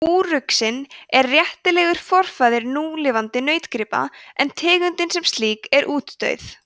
úruxinn er réttilega forfaðir núlifandi nautgripa en tegundin sem slík er útdauð